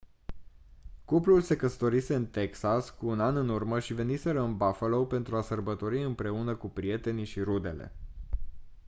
cuplul se căsătorise în texas cu un an în urmă și veniseră în buffalo pentru a sărbători împreună cu prietenii și rudele